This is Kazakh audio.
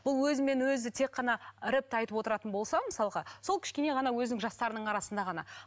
бұл өзімен өзі тек қана рэпті айтып отыратын болса мысалға сол кішкене ғана өзінің жастарының арасында ғана